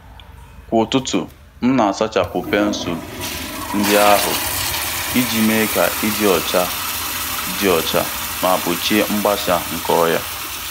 Kwa ụtụtụ, m na-asachapụ pensụl ndị ahụ iji mee ka ịdị ọcha dị ọcha ma gbochie mgbasa nke ọrịa.